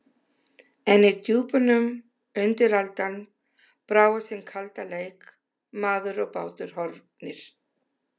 En í djúpunum undiraldan, brá á sinn kalda leik: Maður og bátur horfnir.